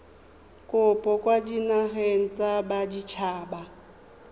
kopo kwa dinageng tsa baditshaba